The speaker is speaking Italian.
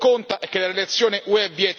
Ma a noi questo non interessa.